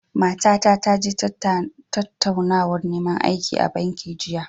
Matata ta je tattaunawar neman aiki a banki jiya.